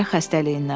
Ürək xəstəliyindən.